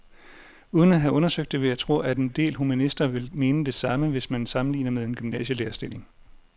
Uden at have undersøgt det vil jeg tro, at en del humanister vil mene det samme, hvis man sammenligner med en gymnasielærerstilling.